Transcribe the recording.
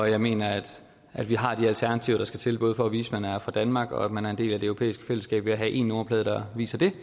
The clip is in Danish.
jeg mener at at vi har de alternativer der skal til både for at vise at man er fra danmark og at man er en del af det europæiske fællesskab ved at have en nummerplade der viser det